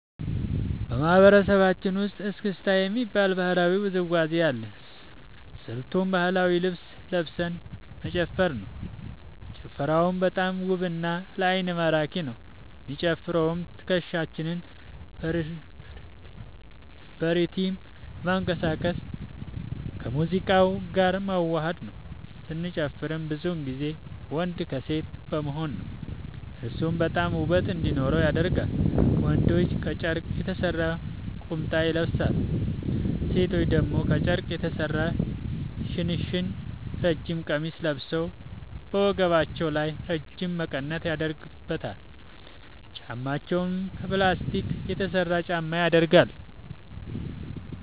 በማህበረሰባችን ውስጥ እስክስታ የሚባል ባህላዊ ውዝዋዜ አለ። ስልቱም ባህላዊ ልብስ ለብሰን መጨፈር ነው። ጭፈራውም በጣም ውብ እና ለአይን ማራኪ ነው። የሚጨፈረውም ትከሻችንን በሪትም በማንቀሳቀስ ከሙዚቃው ጋር ማወሀድ ነው። ስንጨፍርም ብዙ ጊዜ ወንድ ከሴት በመሆን ነው። እርሱም በጣም ውበት እንዲኖረው ያደርጋል። ወንዶች ከጨርቅ የተሰራ ቁምጣ ይለብሳሉ። ሴቶች ደግሞ ከጨርቅ የተሰራ ሽንሽን ረጅም ቀሚስ ለብሰው በወገባቸው ላይ ረጅም መቀነት ያደረጉበታል። ጫማቸውም ከ ፕላስቲክ የተሰራ ጫማ ያደረጋሉ።